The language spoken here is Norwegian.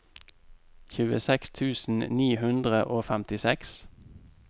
tjueseks tusen ni hundre og femtiseks